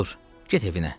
Dur, get evinə.